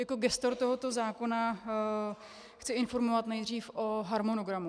Jako gestor tohoto zákona chci informovat nejdřív o harmonogramu.